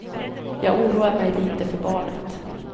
Jag oroar mig lite för barnet.